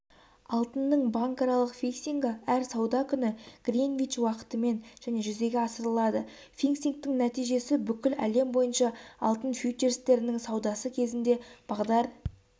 алтынның банкаралық фиксингі әр сауда күні гринвич уақытымен және жүзеге асырылады фиксингтің нәтижесі бүкіл әлем бойынша алтын фьючерстерінің саудасы кезінде бағдар